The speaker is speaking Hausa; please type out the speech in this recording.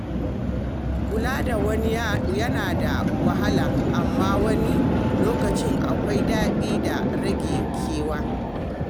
Kula da wani yana da wahala, amma wani lokacin akwai daɗi da rage kewa.